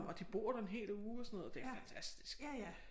Og de bor der en hel uge og sådan noget det er fantastisk